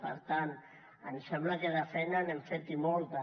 per tant ens sembla que de feina n’hem fet i molta